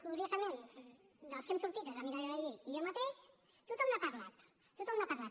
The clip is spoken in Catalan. curiosament dels que hem sortit que som la mireia vehí i jo mateix tothom n’ha parlat tothom n’ha parlat